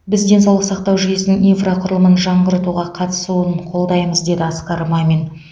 біз денсаулық сақтау жүйесінің инфрақұрылымын жаңғыртуға қатысуын қолдаймыз деді асқар мамин